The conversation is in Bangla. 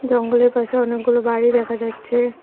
জঙ্গলের পাশে অনেকগুলো বাড়ি দেখা যাচ্ছে।